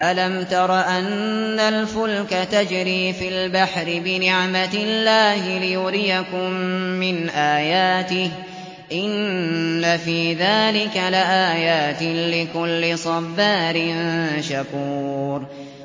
أَلَمْ تَرَ أَنَّ الْفُلْكَ تَجْرِي فِي الْبَحْرِ بِنِعْمَتِ اللَّهِ لِيُرِيَكُم مِّنْ آيَاتِهِ ۚ إِنَّ فِي ذَٰلِكَ لَآيَاتٍ لِّكُلِّ صَبَّارٍ شَكُورٍ